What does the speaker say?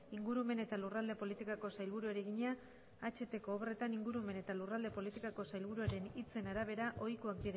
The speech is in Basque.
ingurumen eta lurralde politikako sailburuari egina ahtko obretan ingurumen eta lurralde politikako sailburuaren hitzen arabera ohikoak